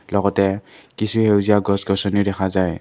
লগতে কিছু সেউজীয়া গছ গছনিও দেখা যায়।